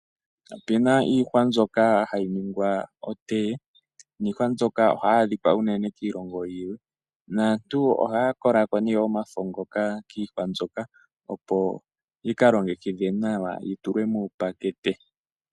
Opuna iihwa mbyono hayi ningwa otee nihwa mbyoka oha yi adhika unene kiilongo yimwe, naantu oha yakolako ne omafo ngoka kiihwa mbyoka opo yika longekidhwe nawa yitulwe mupakete.